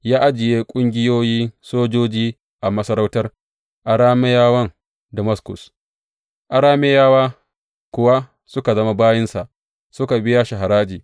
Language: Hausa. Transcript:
Ya ajiye ƙungiyoyi sojoji a masarautar Arameyawan Damaskus, Arameyawa kuwa suka zama bayinsa, suka biya shi haraji.